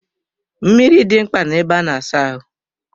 Mmiri dị mkpa na ebe a na-asa ahụ.